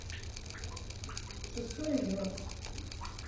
шестой игрок